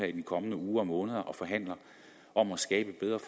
i de kommende uger og måneder og forhandler om at skabe bedre